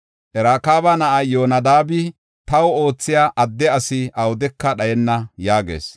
Rakaaba na7ay Yoonadaabi, taw oothiya adde asi awudeka dhayenna’ ” yaagees.